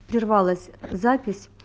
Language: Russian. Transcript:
прервалось запись